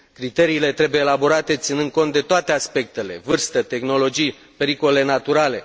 Criteriile trebuie elaborate ținând cont de toate aspectele vârstă, tehnologii, pericole naturale.